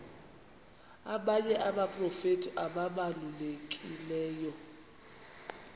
abanye abaprofeti ababalulekileyo